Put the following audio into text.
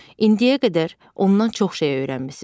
İndiyə qədər ondan çox şey öyrənmisiz.